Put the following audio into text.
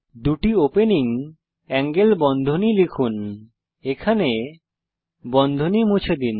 দুটি opening angle বন্ধনী লিখুন এখানে বন্ধনী মুছে দিন